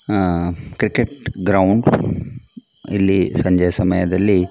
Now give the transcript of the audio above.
ಆಹ್ಹ್ cricket ground ಇಲ್ಲಿ ಸಂಜೆಯ ಸಮಯದಲ್ಲಿ --